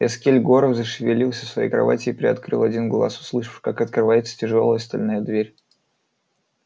эскель горов зашевелился в своей кровати и приоткрыл один глаз услышав как открывается тяжёлая стальная дверь